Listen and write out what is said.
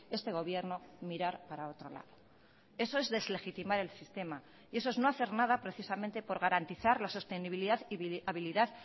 este gobierno mirar para otro lado eso es deslegitimar el sistema y eso es no hacer nada precisamente por garantizar la sostenibilidad y habilidad